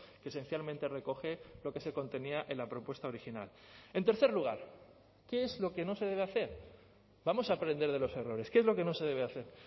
que esencialmente recoge lo que se contenía en la propuesta original en tercer lugar qué es lo que no se debe hacer vamos a aprender de los errores qué es lo que no se debe hacer